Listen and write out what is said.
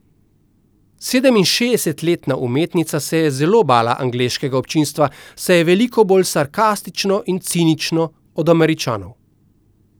Sedeminšestdesetletna umetnica se je zelo bala angleškega občinstva, saj je veliko bolj sarkastično in cinično od Američanov.